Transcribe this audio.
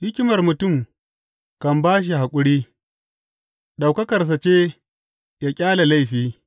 Hikimar mutum kan ba shi haƙuri; ɗaukakarsa ce ya ƙyale laifi.